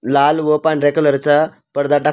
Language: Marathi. लाल व पांढऱ्या कलर चा पडदा टाक--